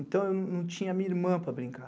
Então, eu não tinha minha irmã para brincar.